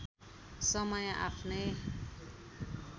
समय आफ्नै